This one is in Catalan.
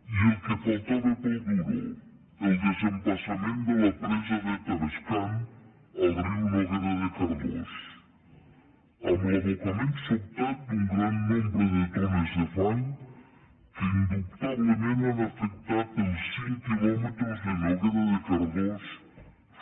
i el que faltava per al duro el desembassament de la presa de tavascan al riu noguera de cardós amb l’abocament sobtat d’un gran nombre de tones de fang que indubtablement han afectat els cinc quilòmetres de noguera de cardós